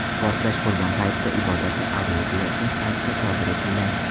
Portlash Qurbon hayiti ibodati ado etilayotgan paytda sodir etilgan.